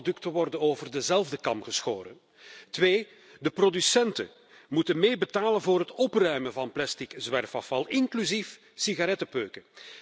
Niet alle producten worden over dezelfde kam geschoren. Twee, de producenten moeten meebetalen voor het opruimen van plastic zwerfafval, inclusief sigarettenpeuken.